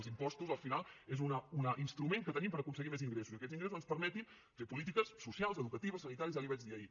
els impostos al final són un instrument que tenim per aconseguir més ingressos i que aquests ingressos ens permetin fer polítiques socials educatives sanitàries ja li ho vaig dir ahir